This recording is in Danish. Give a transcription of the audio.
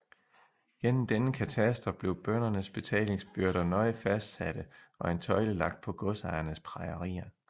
Gennem denne kataster blev bøndernes betalingsbyrder nøje fastsatte og en tøjle lagt på godsejernes prejerier